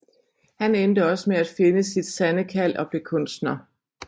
Han endte også med at finde sit sande kald og blev kunstner